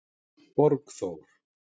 Borgþór